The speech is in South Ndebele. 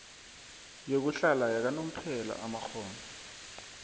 yokuhlala yakanomphela amakghono